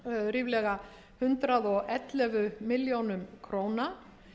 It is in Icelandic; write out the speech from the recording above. ríflega hundrað og ellefu milljónir króna